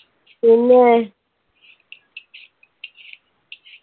പിന്നെ